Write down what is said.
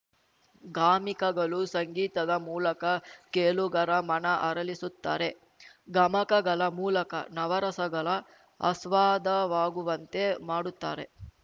ಗಾಮಿಕಗಳು ಸಂಗೀತದ ಮೂಲಕ ಕೇಳುಗರ ಮನ ಅರಳಿಸುತ್ತಾರೆ ಗಮಕಗಳ ಮೂಲಕ ನವರಸಗಳ ಅಸ್ವಾದವಾಗುವಂತೆ ಮಾಡುತ್ತಾರೆ